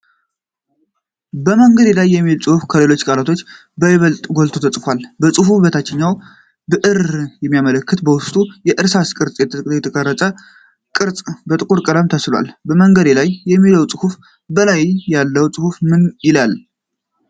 "በመንገዴ ላይ" የሚለው ጽሁፍ ከሌሎቹ ቃላቶች በይበልጥ ጎልቶ ተጽፏል። ከጽሁፉ በታችም ብእርን የሚያመላክት በዉስጡ የእርሳስ ቅርጽ የተቀረጸበት ቅርጽ በጥቁር ቀለም ተስሏል። በመንገዴ ላይ ከሚለው ጽሁፍ በላይ ያለው ጽሁፍ ምን ይላል?